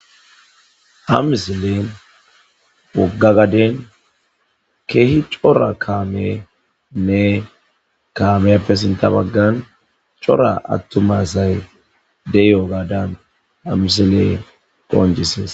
ha misilen wogga gaden keehi cora kaamenne kaameyappe sinta baggan cora attuma asay de'iyogaadan ha misiley qooncisees